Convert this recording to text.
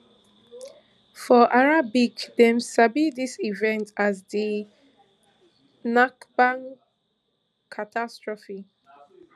for arabic dem sabi dis event as di nakba catastrophe